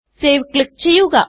save click ചെയ്യുക